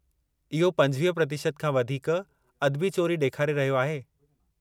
इहो 25% खां वधीक अदबी चोरी ॾेखारे रहियो आहे।